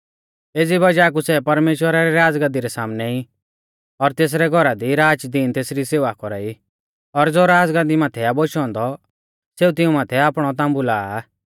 एज़ी बज़ाह कु सै परमेश्‍वरा री राज़गाद्दी रै सामनै ई और तेसरै घौरा दी राचदिन तेसरी सेवा कौरा ई और ज़ो राज़गाद्दी माथै आ बोशौ औन्दौ सेऊ तिऊं माथै आपणौ ताम्बु लाआ